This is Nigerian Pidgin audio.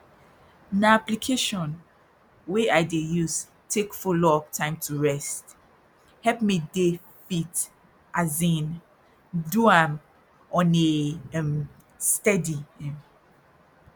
na application wey i dey use take follow up time to rest help me dey fit as in do am on a um steady um